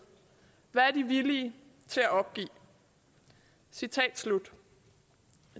hvad er de villig til opgive citat slut